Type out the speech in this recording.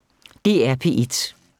DR P1